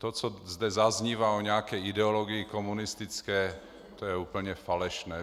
To, co zde zaznívá o nějaké ideologii komunistické, to je úplně falešné.